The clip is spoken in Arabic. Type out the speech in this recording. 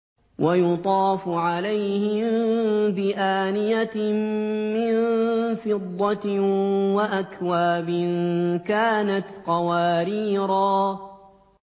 وَيُطَافُ عَلَيْهِم بِآنِيَةٍ مِّن فِضَّةٍ وَأَكْوَابٍ كَانَتْ قَوَارِيرَا